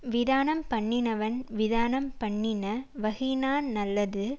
விதானம் பண்ணினவன் விதானம் பண்ணின வகையினானல்லது